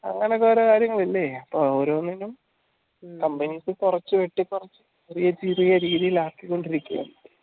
അങ്ങനെ കൊറേ കാര്യങ്ങൾ ഇല്ലേ അപ്പൊ ഓരോന്നിനും companies കൊർച് വെട്ടി കൊറച്ചു പുതിയ രീതിലാക്കി കോണ്ടിരിക്കാന്